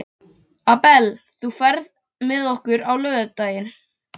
Abel, ferð þú með okkur á laugardaginn?